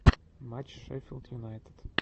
матч шеффилд юнайтед